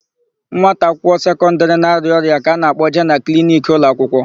Nwata akwụkwọ sekọndịrị na-arịa ọrịa ka a na-akpọje na kliniki ụlọakwụkwọ.